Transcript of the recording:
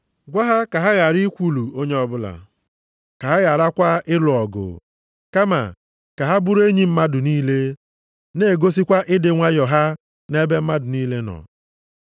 Gwa ha ka ha ghara ikwulu onye ọbụla, ka ha gharakwa ịlụ ọgụ, kama, ka ha bụrụ enyi mmadụ niile, na-egosikwa ịdị nwayọọ ha nʼebe mmadụ niile nọ.